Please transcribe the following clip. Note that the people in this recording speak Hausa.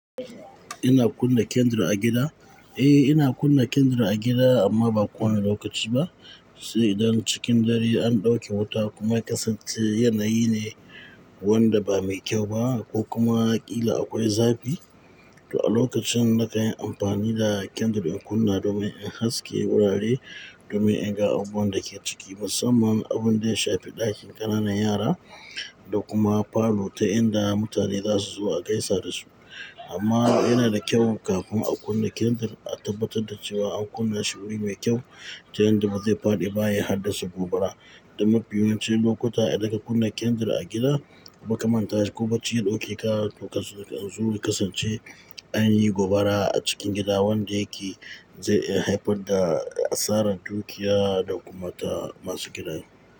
Ina kunna kindle a gida? Eh, ina kunna kendle a gida amma ba ko wane lokaci ba. Sai idan cikin dare an ɗauki wuta kuma ya kasance yanayi ne wanda ba mai kyau ba ko kuma ƙila akwai zafi. To a lokacin na kanyi amfani da kindle in kunna domin in haske wurare, domin in ga abun da ke ciki musamman abun da ya shafi ɗakin ƙananan yara da kuma parlour ta inda mutane za su zo a gaisa da su. Amma yana da kyau kafin a kunna kindle a tabbatar da cewa an kunna shiwuri mai kyau ta yadda ba zai faɗi ba ya haddasa gobara. Da mafi yawancin lokuta idan ka kunna kendle a gida, ba kaman tashi ko bacci, ɗaukaka to kasance an zo kasance anyi gobara a cikin gida wanda yake zai haifar da asarar dukiya da kuma ta masu gidajen.